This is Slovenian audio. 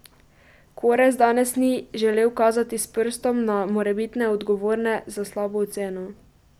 Korez danes ni želel kazati s prstom na morebitne odgovorne za slabo oceno.